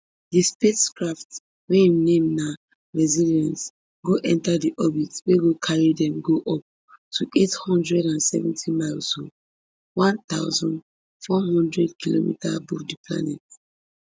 di spacecraft wey im name na resilience go enta di orbit wey go carry dem go up to eight hundred and seventy miles um one thousand, four hundred kilometer above di planet